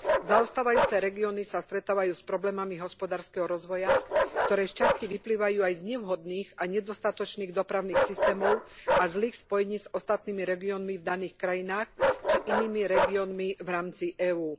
Zaostávajúce regióny sa stretávajú s problémami hospodárskeho rozvoja, ktoré sčasti vyplývajú aj z nevhodných a nedostatočných dopravných systémov a zlých spojení s ostatnými regiónmi v daných krajinách či inými regiónmi v rámci EÚ.